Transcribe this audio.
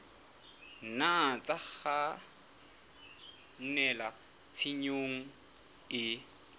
nna tsa kgannela tshenyong e